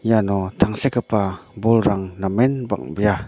iano tangsekgipa bolrang namen bang·bea.